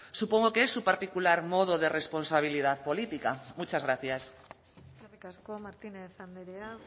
supongo que es su particular modo de responsabilidad política muchas gracias eskerrik asko martínez andrea